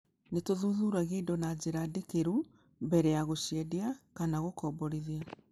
Nĩ tũthuthuragia indo na njĩra ndikĩru mbere ya gũciendia kana gũkomborithia.